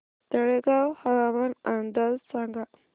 तळेगाव हवामान अंदाज सांगा